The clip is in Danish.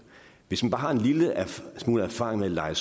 hvis man bare har en lille smule erfaring med at leje